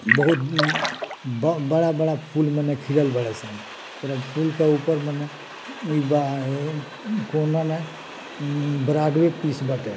बहुत उम्म बड़ा बड़ा फूल में खिलल बाड़े सन पूरा फूल के ऊपर मने बाये कोना में उम्म बराबरे पीस बाटे |